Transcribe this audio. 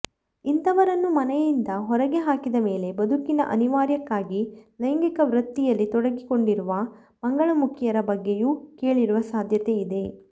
ಇಂಥವರನ್ನು ಮನೆಯಿಂದ ಹೊರಗೆ ಹಾಕಿದ ಮೇಲೆ ಬದುಕಿನ ಅನಿವಾರ್ಯಕ್ಕಾಗಿ ಲೈಂಗಿಕ ವೃತ್ತಿಯಲ್ಲಿ ತೊಡಗಿಕೊಂಡಿರುವ ಮಂಗಳಮುಖಿಯರ ಬಗ್ಗೆಯೂ ಕೇಳಿರುವ ಸಾಧ್ಯತೆ ಇದೆ